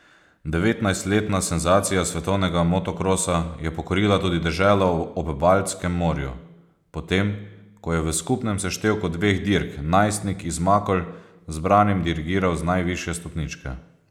Devetnajstletna senzacija svetovnega motokrosa je pokorila tudi deželo ob Baltskem morju, potem ko je v skupnem seštevku dveh dirk najstnik iz Makol zbranim dirigiral z najvišje stopničke.